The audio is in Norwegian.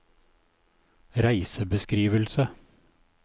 reisebeskrivelse